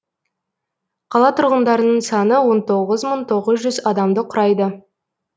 қала тұрғындарының саны он тоғыз мың тоғыз жүз адамды құрайды